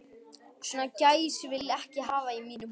Svona gæs vil ég ekki hafa í mínum húsum.